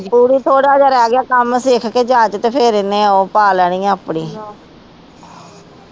ਕਿਉਂਕਿ ਥੋੜਾ ਜਾ ਰਹਿ ਗਿਆ ਕਮ ਸਿਖ ਕੇ ਜਾ ਕੇ ਤੇ ਫੇਰ ਇਹਨੇ ਉਹ ਪਾ ਲੈਣੀ ਆ ਆਪਣੀ